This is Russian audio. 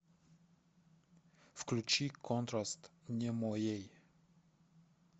включи контраст не моей